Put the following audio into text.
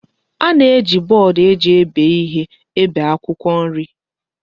A na-eji bọọdụ eji ebe ihe ebe akwụkwọ nri.